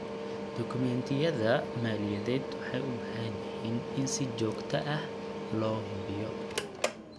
Dukumeentiyada maaliyadeed waxay u baahan yihiin in si joogto ah loo hubiyo.